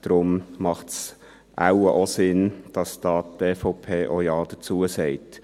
Deshalb macht es wahrscheinlich Sinn, dass die EVP auch Ja dazu sagt.